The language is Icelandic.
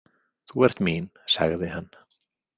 Þú ert mín, sagði hann.